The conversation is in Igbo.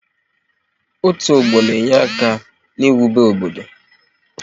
Otu ọgbọ na-enyere aka n'iwube obodo